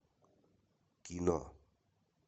кино